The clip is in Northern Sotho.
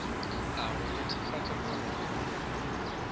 a go netefatša gore go